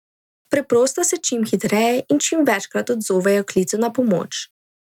Preprosto se čim hitreje in čim večkrat odzovejo klicu na pomoč.